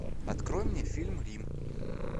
открой мне фильм рим